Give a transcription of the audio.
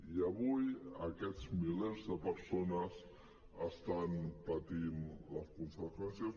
i avui aquests milers de persones n’estan patint les conseqüències